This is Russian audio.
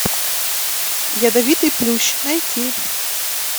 ядовитый плющ найти